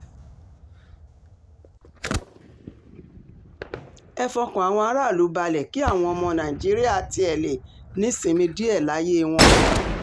ẹ fọkàn àwọn aráàlú balẹ̀ kí àwọn ọmọ nàìjíríà tiẹ̀ lè nísinmi díẹ̀ láyé wọn